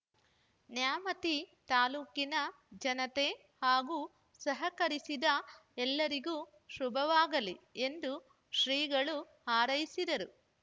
ನ್ಯಾಮತಿ ತಾಲೂಕಿನ ಜನತೆ ಹಾಗೂ ಸಹಕರಿಸಿದ ಎಲ್ಲಾರಿಗೂ ಶುಭವಾಗಲಿ ಎಂದು ಶ್ರೀಗಳು ಹಾರೈಸಿದರು